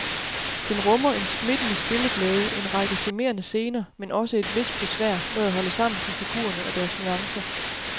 Den rummer en smittende spilleglæde, en række charmerende scener, men også et vist besvær med at holde sammen på figurerne og deres nuancer.